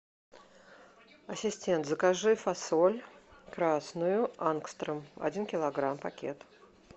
ассистент закажи фасоль красную ангстрем один килограмм пакет